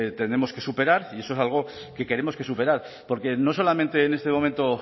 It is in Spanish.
tendremos que superar y eso es algo que queremos que superar porque no solamente en este momento